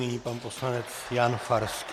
Nyní pan poslanec Jan Farský.